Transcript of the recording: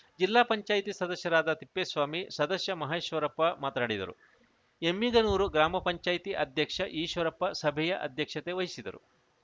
ಜಿಲ್ಲಾ ಪಂಚಾಯತಿ ಸದಸ್ಯರಾದ ತಿಪ್ಪೇಸ್ವಾಮಿ ಸದಸ್ಯ ಮಹೇಶ್ವರಪ್ಪ ಮಾತನಾಡಿದರು ಎಮ್ಮಿಗನೂರು ಗ್ರಾಮ ಪಂಚಾಯತಿ ಅಧ್ಯಕ್ಷ ಈಶ್ವರಪ್ಪ ಸಭೆಯ ಅಧ್ಯಕ್ಷತೆ ವಹಿಸಿದ್ದರು